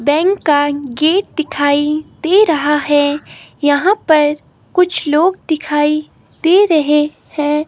Bank का gate दिखाई दे रहा है यहां पर कुछ लोग दिखाई दे रहे हैं।